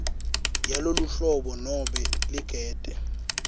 yaloluhlobo nobe ligede